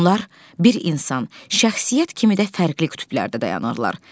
Onlar bir insan, şəxsiyyət kimi də fərqli qütblərdə dayanırlar.